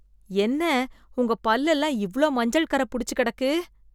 என்ன உங்க பல் எல்லாம் இவ்ளோ மஞ்சள் கரை புடிச்சு கிடக்கு?